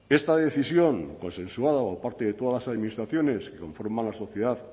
esta decisión consensuada por parte de todas las administraciones que conforman la sociedad